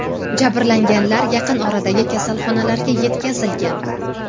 Jabrlanganlar yaqin oradagi kasalxonalarga yetkazilgan.